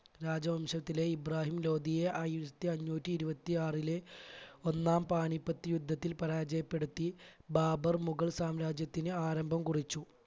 രാജവംശത്തിലെ ഇബ്രാഹിം ലോധിയെ ആയിരത്തി അഞ്ഞൂറ്റി ഇരുപത്തി ആറിലെ ഒന്നാം പാനിപ്പത്ത് യുദ്ധത്തിൽ പരാജയപ്പെടുത്തി ബാബർ മുഗൾ സാമ്രാജ്യത്തിന് ആരംഭം കുറിച്ചു.